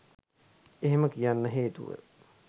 එහෙම කියන්න හේතුව